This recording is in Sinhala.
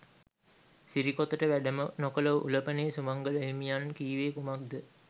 සිරිකොතට වැඩම නොකළ උලපනේ සුමංගල හිමියන් කීවේ කුමක්ද?